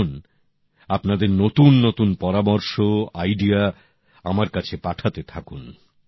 এখন আপনাদের নতুন নতুন পরামর্শ ভাবনা আমার কাছে পাঠাতে থাকুন